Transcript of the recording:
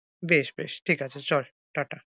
বেশ বেশ ঠিক আছে, চল টা টা।